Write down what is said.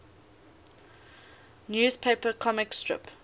newspaper comic strip